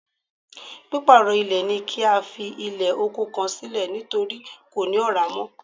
Pípàrọ̀ ilẹ̀ ni kí a fi ilẹ̀ oko kan sílẹ̀ nítorí kò ní Ọ̀rá mọ́